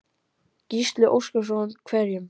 Gísli Óskarsson: Hverjum?